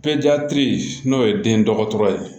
n'o ye den dɔgɔtɔrɔ ye